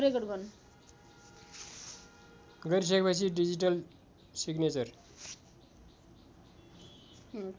गरिसकेपछि digital signature